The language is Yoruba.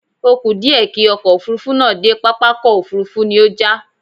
Ó kù díẹ̀ kí ọkọ̀ Òfurufú náà dé pápákọ̀ òfuurufú ni ó já